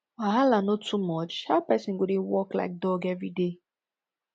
wahala no too much how person go dey work like dog everyday